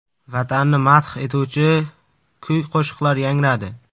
Vatanni madh etuvchi kuy-qo‘shiqlar yangradi.